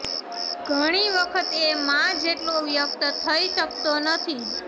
ઘણી વખત એ મા જેટલો વ્યક્ત થઇ શકતો નથી